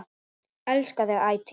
Elska þig ætíð.